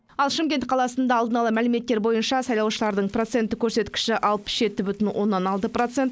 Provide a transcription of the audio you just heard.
ал шымкент қаласында алдын ала мәліметтер бойынша сайлаушылардың проценттік көрсеткіші алпыс жеті бүтін оннан алты процент